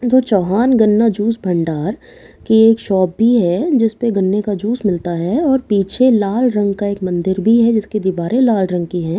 जो चौहान गन्ना जूस भंडार की एक शॉप भी है जिसमें गन्ने का जूस मिलता है और पीछे लाल रंग का एक मंदिर भी है जिसकी दिवारें लाल रंग की है --